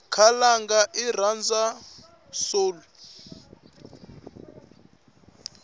khalanga irhandzwa soul